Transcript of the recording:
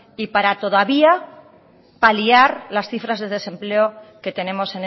y para todavía paliar las cifras de desempleo que tenemos